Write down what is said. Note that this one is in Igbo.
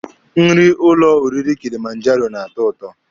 Nri ụlọ oriri Kilimanjaro na-atọ ụtọ.